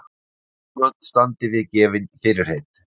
Stjórnvöld standi við gefin fyrirheit